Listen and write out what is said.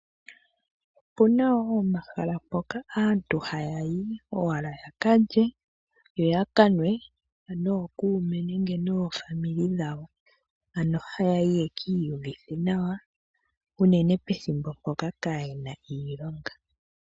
Opuna omahala ngoka aatu hayayi owala yakalye, yo yakanwe nookuume nenge noofamili dhawo, ano hayayi yeki iyuvithe nawa, unene pethimbo mpoka kaayena iilonga.